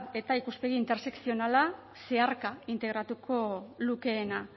etaa ikuspegi intersekzionala zeharka integratuko lukeena